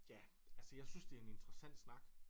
Ja altså jeg synes det er en interessant snak